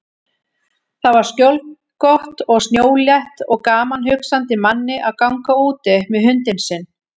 Þar var skjólgott og snjólétt og gaman hugsandi manni að ganga úti með hundinn sinn.